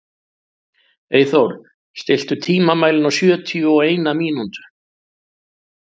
Eyþór, stilltu tímamælinn á sjötíu og eina mínútur.